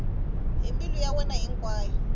hi mbilu ya yena hinkwayo